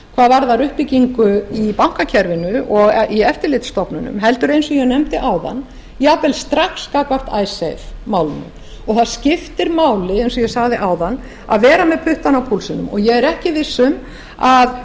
hvað varðar uppbyggingu í bankakerfinu og í eftirlitsstofnunum heldur eins og ég nefndi áðan jafnvel strax gagnvart icesave málinu og það skiptir máli eins og ég sagði áðan að vera með puttana á púlsinum og ég er ekki viss um að